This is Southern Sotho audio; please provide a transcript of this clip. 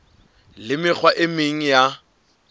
le mekgwa e meng ya